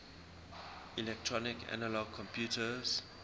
electronic analog computers